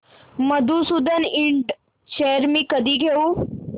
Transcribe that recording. Madhusudan Ind shares मी कधी घेऊ